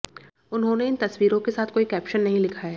उन्होंने इन तस्वीरों के साथ कोई कैप्शन नहीं लिखा है